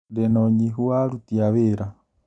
Ndĩna ũnyihu wa aruti a wĩra